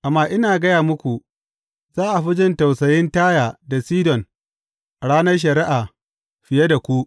Amma ina gaya muku, za a fi jin tausayin Taya da Sidon a ranar shari’a, fiye da ku.